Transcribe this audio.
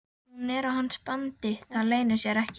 Hún er á hans bandi, það leynir sér ekki.